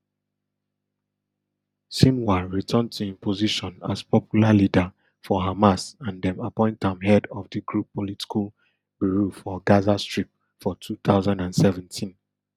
sinwar return to im position as popular leader for hamas and dem appoint am head of di group political bureau for gaza strip for two thousand and seventeen